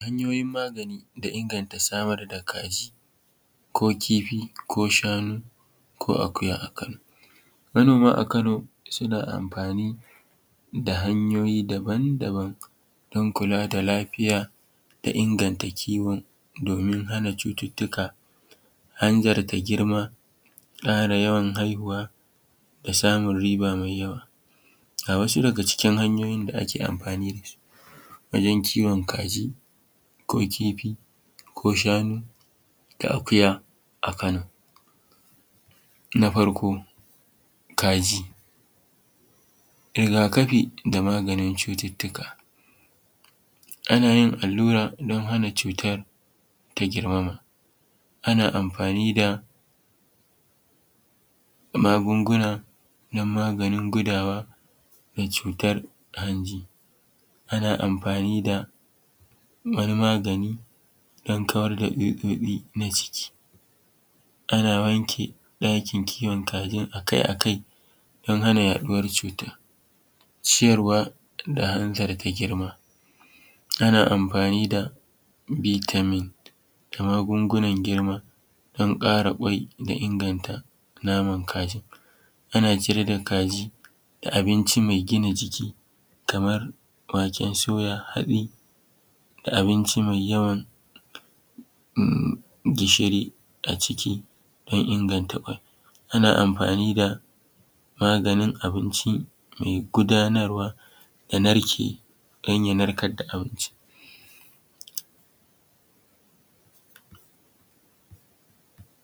Hanyoyin magani da inganta samar da kaji ko kifi ko shanu ko akuya a Kano. Manoma a Kano suna amfani da hanyoyi daban-daban don kula da lafiya da inganta kiwo domin hana cututtuka, hanzarta girma, ƙara yawan haihuwa da samun riba mai yawa. A wasu daga cikin hanyoyin da ake amfani da su wajen kiwon kaji ko kifi ko shanu da akuya a Kano. Na farko kaji, rigakafi da maganin cututtuka: Ana yin allura don hana cutar ta girmama ana amfani da magunguna don maganin gudawa da cutar hanji, ana amfani da wani maganin gudawa da cutar hanji. Ana amfani da wani magani dan kawar da tsutsotsi na ciki. Ana wanke ɗakin kiwon kajin akai-akai don hana yaɗuwar cutar. Ciyarwa da hanzarta girma: Ana amfani da vitamin da magungunan girma don ƙara ƙwai da inganta naman kajin. Ana ciyar da kaji da abinci mai gina jiki kamar waken soya haɗi da abinci mai yawan gishiri a ciki don inganta ƙwai. Ana amfani da maganin abinci mai gudanarwa ya narke don ya narkar da abincin.